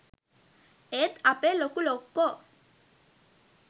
ඒත් අපේ ලොකු ලොක්කෝ